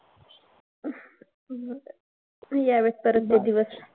यावेत परत ते दिवस.